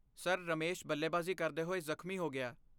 Sir, Ramesh ਬੱਲੇਬਾਜ਼ੀ ਕਰਦੇ ਹੋਏ ਜ਼ਖਮੀ ਹੋ ਗਿਆ।